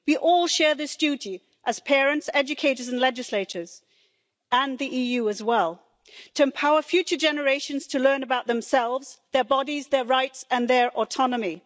We all share this duty as parents, educators and legislators and the EU as well to empower future generations to learn about themselves, their bodies, their rights and their autonomy.